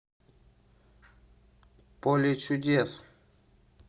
поле чудес